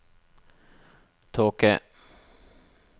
tåke